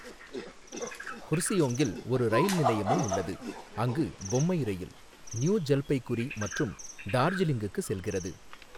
குர்சியோங்கில் ஒரு ரயில் நிலையமும் உள்ளது, அங்கு பொம்மை ரயில் நியூ ஜல்பைகுரி மற்றும் டார்ஜிலிங்குக்கு செல்கிறது.